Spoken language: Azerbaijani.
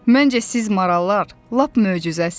Məncə siz marallar lap möcüzəsiz.